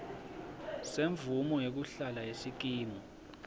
semvumo yekuhlala yesikimu